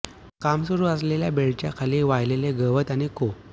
काम सुरू असलेल्या बेल्टच्या खाली वाळलेले गवत आणि को